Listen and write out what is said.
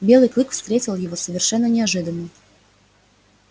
белый клык встретил его совершенно неожиданно